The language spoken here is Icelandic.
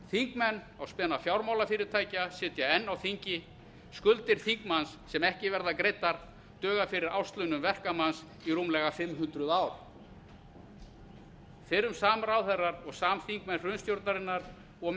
þingmenn á spena fjármálafyrirtækja sitja enn á þingi skuldir þingmanns sem ekki verða greiddar duga fyrir árslaunum verkamanns í rúmlega fimm hundruð ár fyrrum samráðherrar og samþingmenn hrunstjórnarinnar og